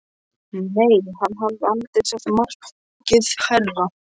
Nei, hann hafði aldrei sett markið hærra.